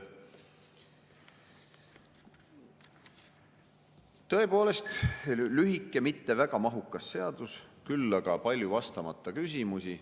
Nii et tõepoolest lühike, mitte väga mahukas seadus, küll aga palju vastamata küsimusi.